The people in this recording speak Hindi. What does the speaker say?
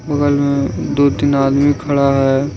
बगल में दो तीन आदमी खड़ा है।